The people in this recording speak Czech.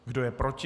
Kdo je proti?